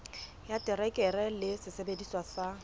ya terekere le sesebediswa sa